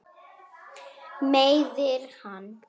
Meiðir hann.